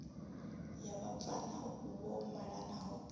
ya vhabvann ḓa vho malanaho